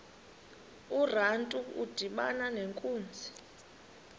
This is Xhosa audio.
urantu udibana nenkunzi